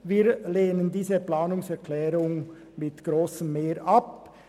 Wir lehnen diese Planungserklärung mit grosser Mehrheit ab.